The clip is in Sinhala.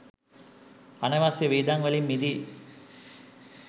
අනවශ්‍ය වියදම් වලින් මිදී